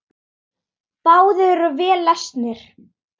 Báðir eru vel lesnir.